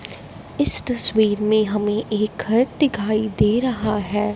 इस तस्वीर में हमें एक घर दिखाई दे रहा है।